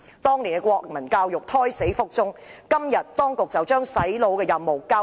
當年國民教育科胎死腹中，當局如今便把"洗腦"的任務交給中史科。